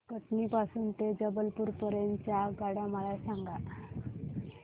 कटनी पासून ते जबलपूर पर्यंत च्या आगगाड्या मला सांगा